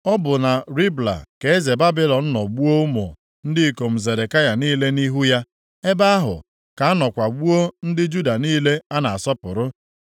Ọ bụ na Ribla, ka eze Babilọn nọ gbuo ụmụ ndị ikom Zedekaya niile nʼihu ya. Ebe ahụ ka a nọkwa gbuo ndị Juda niile a na-asọpụrụ.